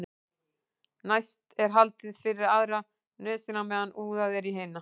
næst er haldið fyrir aðra nösina á meðan úðað er í hina